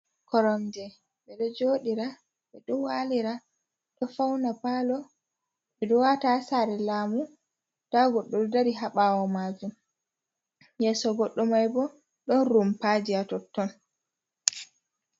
Koronje ɓe ɗo joɗira, ɓe ɗo walira, do fauna palo, ɓe ɗo wata ha sare lamu, nda goɗɗo ɗo dari ha ɓawo majum, yeso goɗɗo mai ɓo ɗon rumpaji ha totton.